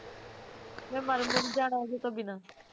ਮੈਂ ਮਰਨ ਵੀ ਨਹੀ ਜਾਣਾ ਉਹਦੇ ਤੋਂ ਬਿਨਾ